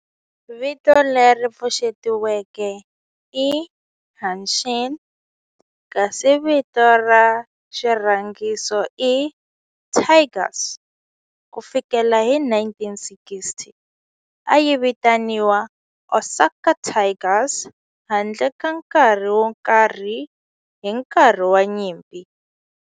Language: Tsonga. Vito leri pfuxetiweke i Hanshin kasi vito ra xirhangiso i Tigers. Ku fikela hi 1960, a yi vitaniwa Osaka Tigers handle ka nkarhi wo karhi hi nkarhi wa nyimpi.